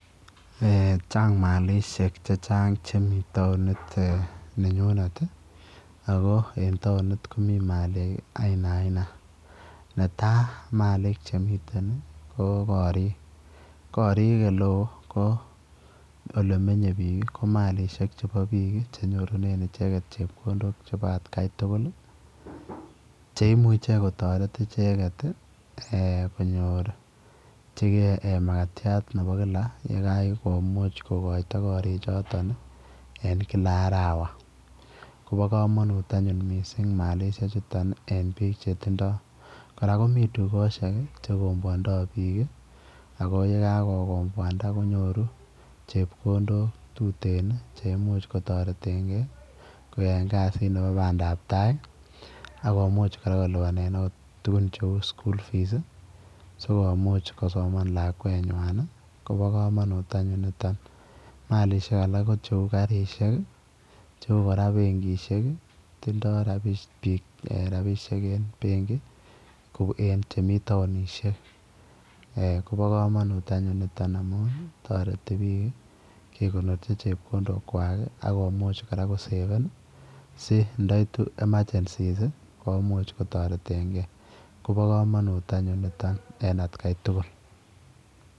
Eeh chaang malishek che chaang chemii taunit nenyuneet ii ako en taunit ko maliik aina aina netai ii Malik che miten ii ko koriik koriik ole wooh ko ole menyei biik ko malishek chebo biik chenyorunen ichegeet chepkondook chebo at Kai tugul ii cheimuiche kotaret ichegeet ii konyoorjigei makatiat nebo kila ye kanai komuuch kogoitoi koriig chotoon ii en kila arawa koba kamanut anyuun maliik chutoon eng biik che tindaa kora komii dukosiek che ikoboandaa biik ii ako ye kakokomboandaa konyoruu chepkondook che tuteen cheimuuch kotareteen gei koyaen kaziit nebo bandap tai ii akomuuch kolupanen akoot tuguun che uu school fees ii sikomuuch kosomaan lakwet nywaany ii kobaa kamanuut anyuun nitoon maliiksiek alaak ko che uu karisheek ii cheuu kora benkishek, tindoi kora biik rapisheek en benki en chemii taunisheek eeh kamanut anyuun nitoo amuun taretii biik kegornorchii chepkondook kwak akomuuch kora koseveen si nda ituu [emergency] komuuch kotareteen gei kobaa kamanuut anyuun nitoon en at Kai tugul.